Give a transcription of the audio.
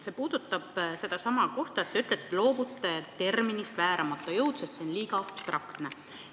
See puudutab sedasama kohta, millest te rääkisite, et te loobute terminist "vääramatu jõud", sest see on liiga abstraktne.